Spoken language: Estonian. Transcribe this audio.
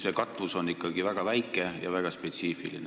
See katvus on ikkagi väga väike ja väga spetsiifiline.